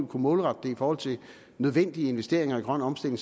kunne målrette det i forhold til nødvendige investeringer i grøn omstilling